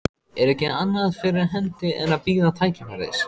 Er ekki annað fyrir hendi en að bíða tækifæris.